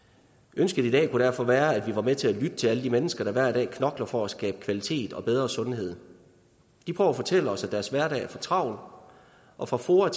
ønsket i dag kunne derfor være at vi var med til at lytte til alle de mennesker der hver dag knokler for at skabe kvalitet og bedre sundhed de prøver at fortælle os at deres hverdag er for travl og fra foa